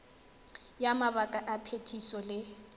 ya mabaka a phetiso le